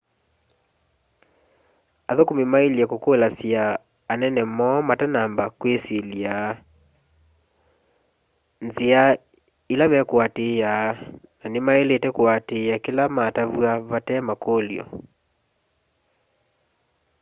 athũkũmĩ maĩle kũkũlasya anene moo matanamba kwĩsyĩlya nzĩa ĩla me kũatĩĩa na nĩ maĩlĩte kũatĩaa kĩla matavywa vate makũlyo